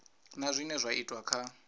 na zwine zwa itwa kha